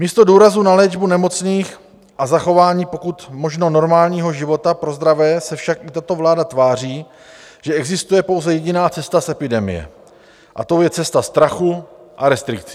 Místo důrazu na léčbu nemocných a zachování pokud možno normálního života pro zdravé se však i tato vláda tváří, že existuje pouze jediná cesta z epidemie, a tou je cesta strachu a restrikcí.